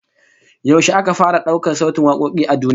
Yaushe aka fara daukar sautin wakoki a duniya?